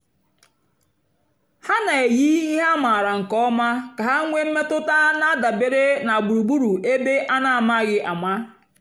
ha na-èyì ihe a mààra nkè ọ̀ma kà ha nwéé mmètụ́tà na-àdabèrè na gbùrùgbùrù ébè a na-àmàghị́ àma.